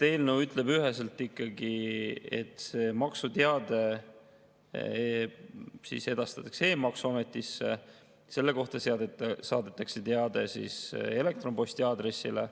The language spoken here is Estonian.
Eelnõu ütleb üheselt ikkagi, et see maksuteade edastatakse e-maksuametisse, selle kohta saadetakse teade elektronposti aadressile.